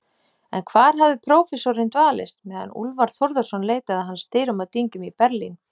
En hvar hafði prófessorinn dvalist, meðan Úlfar Þórðarson leitaði hans dyrum og dyngjum í Berlín?